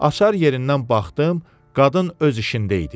Açar yerindən baxdım, qadın öz işində idi.